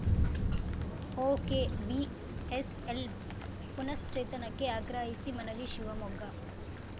OKVSL ಪುನಃಶ್ಚೇತನಕ್ಕೆ ಆಗ್ರಹಿಸಿ ಮನವಿ ಶಿವಮೊಗ್ಗ